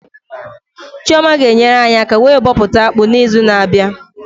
Chioma ga enyere anyị aka wee bọpụta akpụ na izu na abịa